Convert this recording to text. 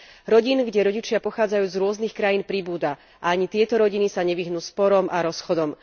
Rodín, kde rodičia pochádzajú z rôznych krajín, pribúda a ani tieto rodiny sa nevyhnú sporom a rozchodom.